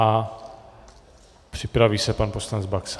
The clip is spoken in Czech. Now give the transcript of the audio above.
A připraví se pan poslanec Baxa.